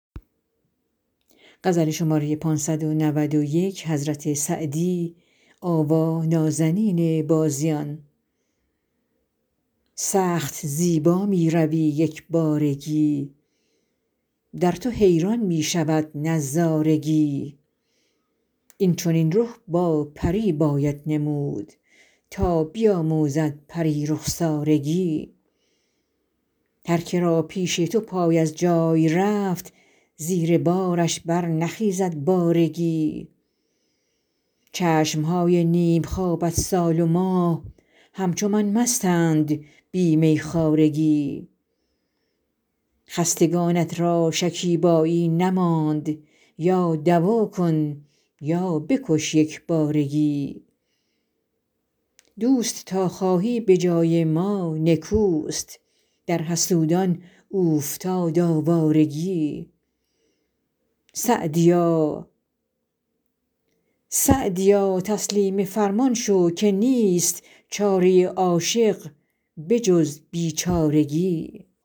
سخت زیبا می روی یک بارگی در تو حیران می شود نظارگی این چنین رخ با پری باید نمود تا بیاموزد پری رخسارگی هرکه را پیش تو پای از جای رفت زیر بارش برنخیزد بارگی چشم های نیم خوابت سال و ماه همچو من مستند بی میخوارگی خستگانت را شکیبایی نماند یا دوا کن یا بکش یک بارگی دوست تا خواهی به جای ما نکوست در حسودان اوفتاد آوارگی سعدیا تسلیم فرمان شو که نیست چاره عاشق به جز بیچارگی